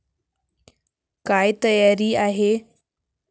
काय तयारी आहे?